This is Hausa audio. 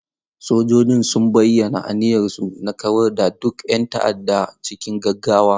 Sojojin sun bayyana aniyarsu na kawar da duk 'yan ta'adda cikin gaggawa.